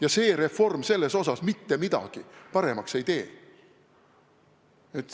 Ja see reform selles osas mitte midagi paremaks ei tee.